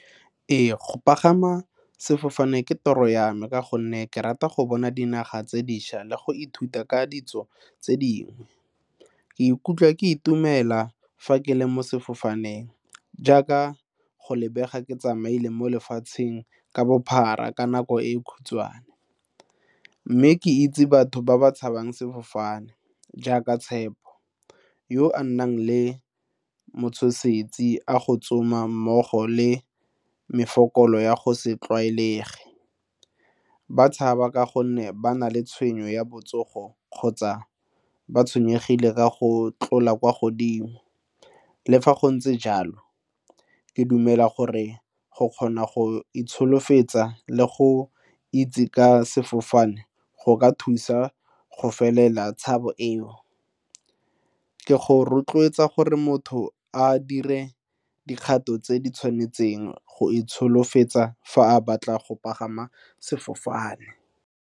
Ee, go pagama sefofane ke tiro ya me ka gonne ke rata go bona dinaga tse dišwa le go ithuta ka ditso tse dingwe. Ke ikutlwa ke itumela fa ke le mo sefofaneng jaaka go lebega ke tsamaile mo lefatsheng ka bophara ka nako e e khutshwane mme ke itse batho ba ba tshabang sefofane jaaka tshepo yo a nnang le matshosetsi a go tsoma mmogo le megopolo ya go se tlwaelegile, ba tshaba ka gonne ba na le tshenyo ya botsogo kgotsa ba tshwenyegile ka go tlola kwa godimo. Le fa go ntse jalo, ke dumela gore go kgona go itsholofetsa le go itse ka sefofane go ka thusa go felela tshabo eo. Ke go rotloetsa gore motho a dire dikgato tse di tshwanetseng go itsholofetsa fa a batla go pagama sefofane.